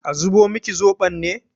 A zubo miki zoɓon ne?